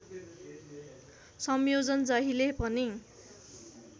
संयोजन जहिले पनि